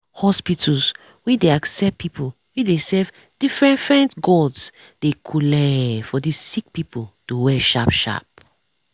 hospitas wen dey accept people wey dey serve differefent gods dey cooleee for the sick pple to well sharp sharp